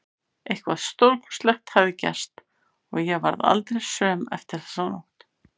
Eitthvað stórkostlegt hafði gerst og ég varð aldrei söm eftir þessa nótt.